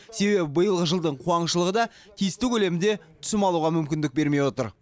себебі биылғы жылдың қуаңшылығы да тиісті көлемде түсім алуға мүмкіндік бермей отыр